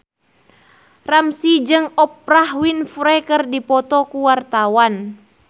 Ramzy jeung Oprah Winfrey keur dipoto ku wartawan